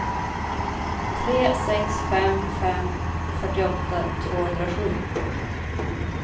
tre sex fem fem fyrtioåtta tvåhundrasju